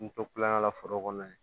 N to kulonkɛ la foro kɔnɔ yen